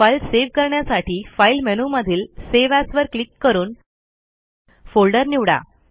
file save करण्यासाठी file मेनूमधील save as वर क्लिक करून फोल्डर निवडा